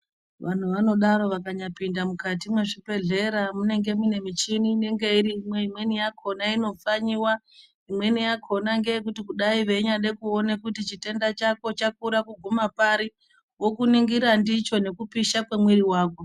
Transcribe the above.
Vantu vanodaro vakanyapinda mukati mezvibhedhlera, munenge mune michini inenge irimo. Imweni yakhona inopfanyiwa, imweni yakhona ngeyekuti kudai veida kuona kuti chitenda chako chakura kuguma pari, vokuningira ndicho nekupisha kwemwiri wako.